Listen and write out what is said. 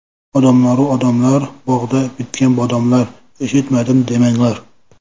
Odamlaru odamlar, bog‘da bitgan bodomlar eshitmadim demanglar!